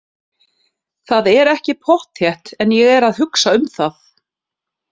Það er ekki pottþétt en ég er að hugsa um það.